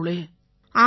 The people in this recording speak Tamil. ஆமாங்கய்யா